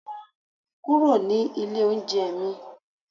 kúrò ní ilé oúnjẹ mi